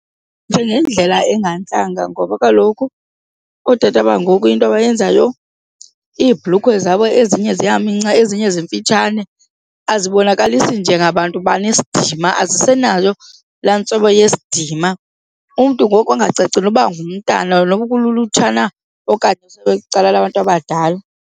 Njengendlela engantlanga ngoba kaloku ootata bangoku into abayenzayo iibhlukhwe zabo ezinye ziyaminca, ezinye zimfitshane azibonakalisi njengabantu banesidima, azisenayo laa ntlobo yesidima. Umntu ngoku angacaci noba ngumtana noba ulutsha na okanye kwicala labantu abadala.